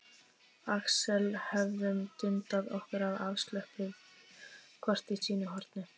Axel höfum dundað okkur afslöppuð hvort í sínu horni.